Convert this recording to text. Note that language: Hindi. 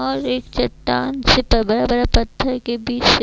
और एक चट्टान पत्थर के बीच से--